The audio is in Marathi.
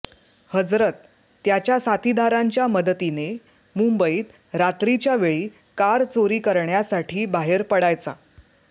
हजरत त्याच्या साथीधारांच्या मदतीने मुंबईत रात्रीच्या वेळी कार चोरी करण्यासाठी बाहेर पडायचा